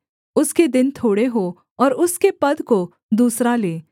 उसके दिन थोड़े हों और उसके पद को दूसरा ले